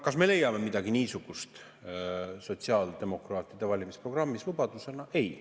Kas me leiame midagi niisugust sotsiaaldemokraatide valimisprogrammist lubadusena?